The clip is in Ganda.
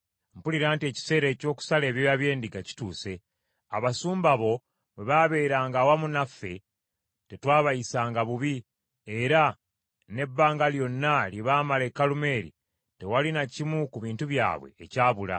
“Mpulira nti ekiseera eky’okusala ebyoya by’endiga kituuse. Abasumba bo bwe baabeeranga awamu naffe, tetwabayisanga bubi, era n’ebbanga lyonna lye baamala e Kalumeeri tewali na kimu ku bintu byabwe ekyabula.